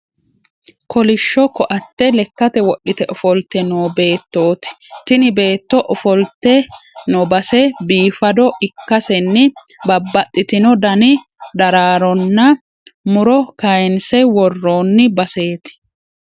Kolishsho koatte lekkate wodhite ofolte no beettooti. Tini beetto ofoltino base bifaado ikkasenni babbaxitino dani daraaronn mu'ro kaayinse worroonni baseeti.